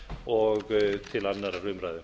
og til annarrar umræðu